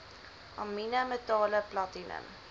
amiene metale platinum